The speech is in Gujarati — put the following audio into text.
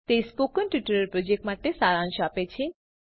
તે સ્પોકન ટ્યુટોરીયલ પ્રોજેક્ટ માટે સારાંશ આપે છે